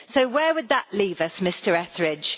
So where would that leave us, Mr Etheridge?